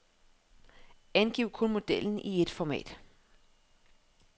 Angiv kun modellen i et format.